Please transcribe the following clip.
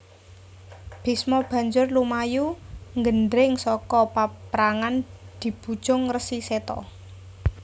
Bisma banjur lumayu nggendring saka paprangan dibujung Resi Seta